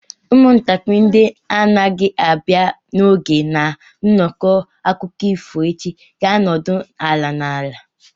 Ụmụntakịrị ndị na-agaghị abịa n'oge na nnọkọ akụkọ ifo echi ga-anọdụ ala n'ala.